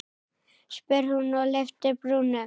spyr hún og lyftir brúnum.